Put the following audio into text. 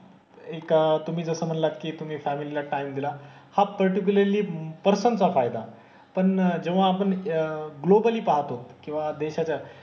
एक तुम्ही जसं म्हणलात की तुम्ही फॅमिलीला टाइम दिला. हा पार्टिक्यूलरली पर्सन चा फायदा आहे. पण जेव्हा आपण अह ग्लोबली पाहतो किंवा देशाच्या,